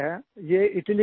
ये इटाली गए थे